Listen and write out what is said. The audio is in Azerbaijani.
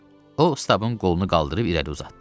O Stabın qolunu qaldırıb irəli uzatdı.